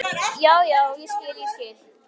Já, já, ég skil, ég skil.